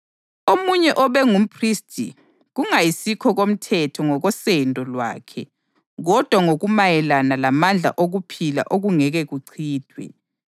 omunye obe ngumphristi kungayisikho komthetho ngokosendo lwakhe kodwa ngokumayelana lamandla okuphila okungeke kuchithwe.